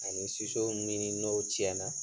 Ani min n'o cɛnna